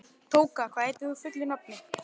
Tóka, hvað heitir þú fullu nafni?